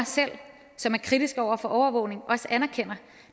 selv som er kritiske over for overvågning anerkender